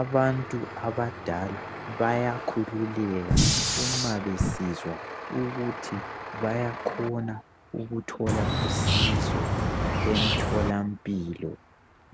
Abantu abadala bayakhululeka uma besizwa ukuthi bayakhona ukuthola usizo emtholampilo,